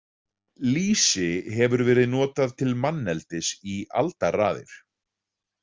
Lýsi hefur verið notað til manneldis í aldaraðir.